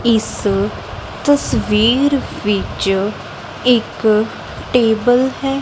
ਇਸ ਤਸਵੀਰ ਵਿੱਚ ਇੱਕ ਟੇਬਲ ਹੈ।